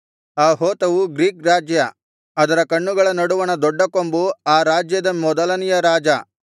ಆ ಹೋತವು ಗ್ರೀಕ್ ರಾಜ್ಯ ಅದರ ಕಣ್ಣುಗಳ ನಡುವಣ ದೊಡ್ಡ ಕೊಂಬು ಆ ರಾಜ್ಯದ ಮೊದಲನೆಯ ರಾಜ